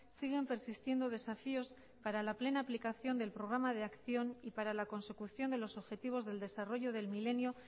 siguen persistiendo desafíos para la plena aplicación del programa de acción y para la consecución de los objetivos del desarrollo del milenio